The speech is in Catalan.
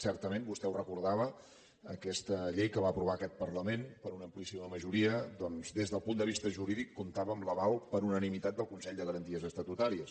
certament vostè ho recordava aquesta llei que va aprovar aquest parlament per una amplíssima majoria doncs des del punt de vista jurídic comptava amb l’aval per unanimitat del consell de garanties estatutàries